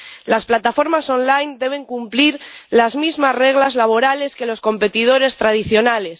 Las plataformas en línea deben cumplir las mismas reglas laborales que los competidores tradicionales.